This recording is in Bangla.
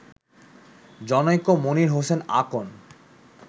জনৈক মনির হোসেন আকন